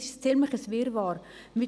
Es ist ein ziemlicher Wirrwarr.